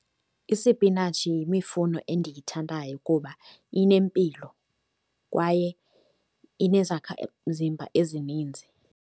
Isipinatshi yemifuno endiyithandayo kuba inempilo kwaye inezakhamzimba ezininzi.